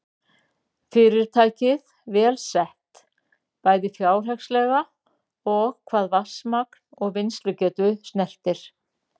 Fyrirtækið vel sett, bæði fjárhagslega og hvað vatnsmagn og vinnslugetu snertir.